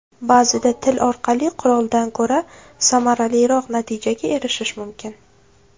Ba’zida til orqali quroldan ko‘ra samaraliroq natijaga erishish mumkin.